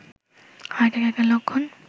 heart এটাকের লক্ষণ